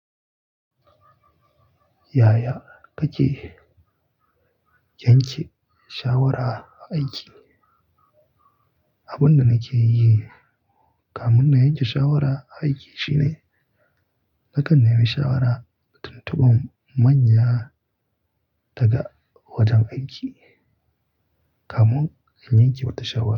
Yaya kake yanke shawara aiki? Abin da nake yi kamun na yanke shawara aiki shine nakan nemi shawara tuntubun manya daga wajen aiki kamun in yanke wata shawara.